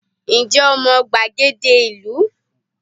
Ǹ jé o mo gbàgede ìlú